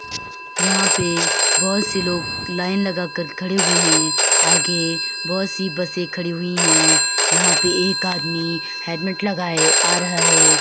यहाँ पे बहुत से लोग लाइन लगाकर खड़े हुए हैं। आगे बहुत सी बसें खड़ी हुई हैं। यहाँ पे एक आदमी हेलमेट लगाए आ रहा है।